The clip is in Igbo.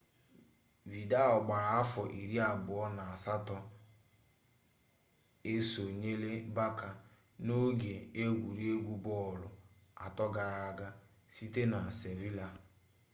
vidal gbara afọ iri abụọ na asatọ esonyela barça n'oge egwuregwu bọọlụ atọ gara aga site na sevilla